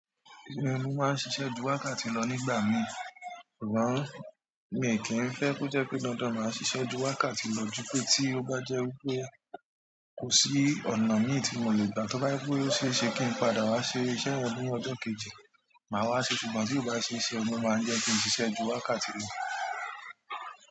Mo máa ń ṣiṣẹ́ ju wákàtí ti lọ nígbà mi, ṣùgbọ́n mi ò kí ń fẹ́ kó jẹ́ pé dandan màá ṣiṣẹ́ ju wákàtí ti lọ jupé tí ó bá jẹ́ wípé kò sí ọnà míì tí mo lè gbà, tóbá jẹ́ pé ó sé se kín padà wá se iṣẹ́ yẹn ní ọjọ́ kejì, màá wá se, ṣùgbọ́n tí kò bá se se, ló máa jẹ́ kín ṣiṣẹ́ ju wákàtí lọ.